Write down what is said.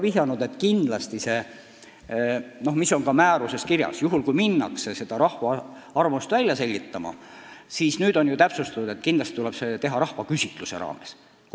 Õiguskantsler on viidanud ja see on ka määruses kirjas, et kui hakatakse rahva arvamust välja selgitama, siis kindlasti tuleb seda teha rahvaküsitluse vormis.